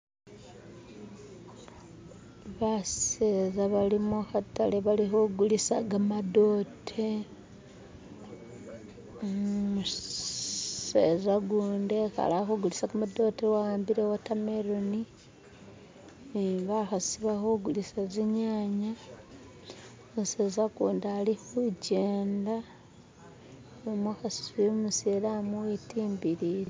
baseza bali muhatale bali hugulisa gamadote umuseza gundi ekale alihugulisa gamadote ahambile iwotameloni nibahasi balihugulisa zinyanya umuseza gundi ali hukyenda numuhasi umusilamu wetimbilile